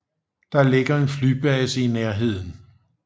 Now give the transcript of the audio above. Der ligger en flybase i nærheden